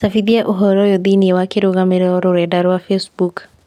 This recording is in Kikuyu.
cabithia ũhoro ũyũ thĩinĩ wa kĩrũgamĩrĩro rũrenda rũarwa facebook